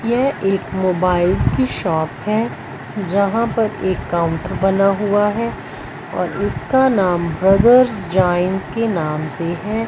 यह एक मोबाइलस की शॉप है जहां पर एक काउंटर बना हुआ है और इसका नाम ब्रदर्स जाईन्स के नाम से हैं।